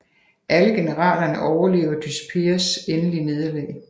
Alle generalerne overlever Dyspears endelige nederlag